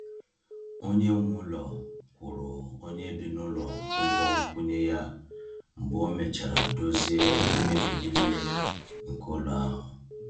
Onye nwe ụlọ kwụrụ onye bi n’ụlọ ụgwọ nkwụnye ya mgbe e mechara dozie mmebi nile nke ụlọ ahụ.